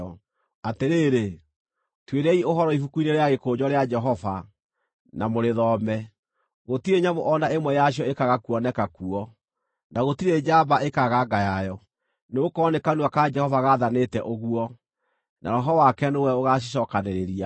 Atĩrĩrĩ, tuĩriai ũhoro ibuku-inĩ rĩa gĩkũnjo rĩa Jehova, na mũrĩthome: Gũtirĩ nyamũ o na ĩmwe yacio ĩkaaga kuoneka kuo, na gũtirĩ njamba ĩkaaga nga yayo. Nĩgũkorwo nĩ kanua ka Jehova gaathanĩte ũguo, na Roho wake nĩwe ũgacicookanĩrĩria.